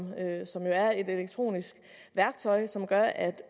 er et elektronisk værktøj som gør at